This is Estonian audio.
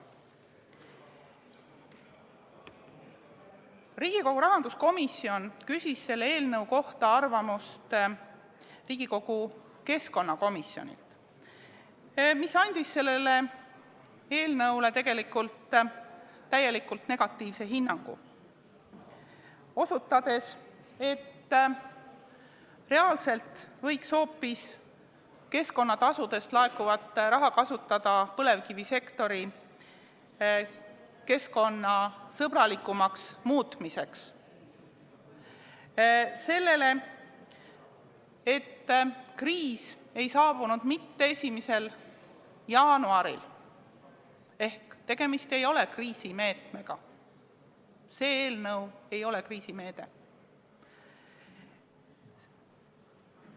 Riigikogu rahanduskomisjon küsis selle eelnõu kohta arvamust Riigikogu keskkonnakomisjonilt, kes andis sellele eelnõule täielikult negatiivse hinnangu, osutades, et reaalselt võiks keskkonnatasudest laekuvat raha kasutada hoopis põlevkivisektori keskkonnasõbralikumaks muutmiseks, ja osutades sellele, et kriis ei saabunud mitte 1. jaanuaril ehk tegemist ei ole kriisimeetmega, see eelnõu ei ole kriisimeede.